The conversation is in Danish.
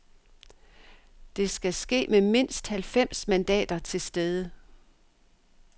Det skal ske med mindst halvfems mandater til stede.